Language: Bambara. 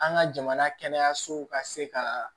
An ka jamana kɛnɛyasow ka se ka